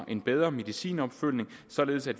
en bedre medicinopfølgning således at